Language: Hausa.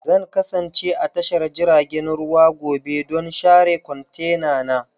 Zan kasance a tashar jiragen ruwa gobe don share kwantenana.